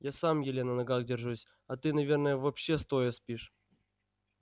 я сам еле на ногах держусь а ты наверное вообще стоя спишь